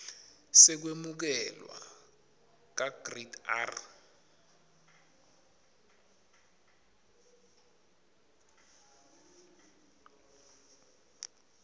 sekwemukelwa kagrade r